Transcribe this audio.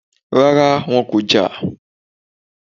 Rárá, wọn kò jà